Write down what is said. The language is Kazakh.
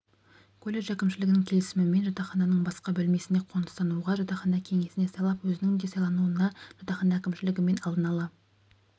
колледж әкімшілігінің келісімімен жатақхананың басқа бөлмесіне қоныстануға жатақхана кеңесіне сайлап өзінің де сайлануына жатақхана әкімшілігімен алдын-ала